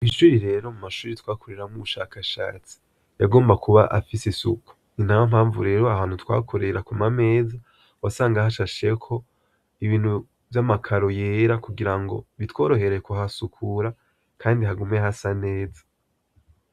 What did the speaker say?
Ishuri rero mu mashure twakoreramwo ubushakashatsi, yagomba kuba afise isuku. Ni nayo mpamvu, rero ahantu twakorera ku ma meza, wasanga hashasheko ibintu vy'amakaro yera, kugira ngo bitworohere kuhasukura kandi hagume hasa neza.